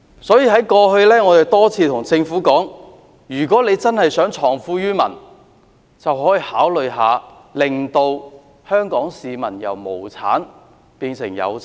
所以，我們過去多次跟政府提出，如果它真的希望藏富於民，可以考慮讓香港市民從無產變有產。